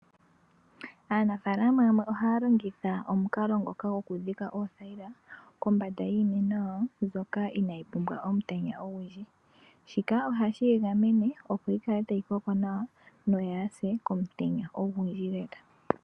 Aanafaalama yamwe ohaa longitha omukalo ngoka gokudhika oothayila kombanda yiimeno yawo mbyoka inaayi pumbwa omutenya ogundji. Shika ohashi yi gamene opo yi kale tayi koko nawa noyaa se komutenya ogundji lela.